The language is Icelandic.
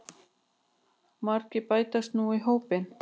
Margir bætast nú í hópinn